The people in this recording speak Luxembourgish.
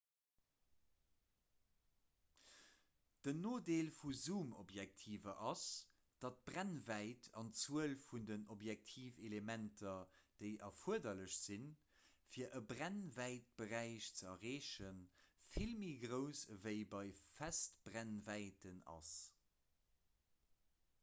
den nodeel vu zoomobjektiver ass datt d'brennwäit an d'zuel vun den objektivelementer déi erfuerderlech sinn fir e brennwäitberäich ze erreechen vill méi grouss ewéi bei festbrennwäiten ass